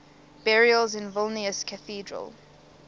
burials at vilnius cathedral